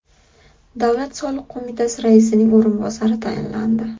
Davlat soliq qo‘mitasi raisining o‘rinbosari tayinlandi.